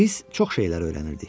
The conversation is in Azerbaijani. Biz çox şeylər öyrənirdik.